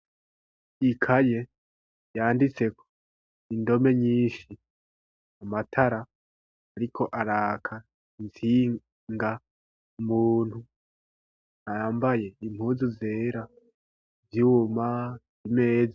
Ikaye yanditse ko indome nyinshi amatara ariko araka itsinga muntu yambaye impunzu zera z'ivyuma ameza.